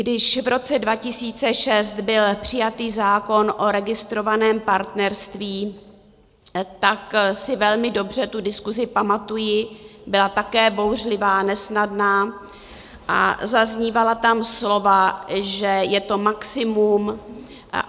Když v roce 2006 byl přijatý zákon o registrovaném partnerství, tak si velmi dobře tu diskusi pamatuji, byla také bouřlivá, nesnadná a zaznívala tam slova, že je to maximum.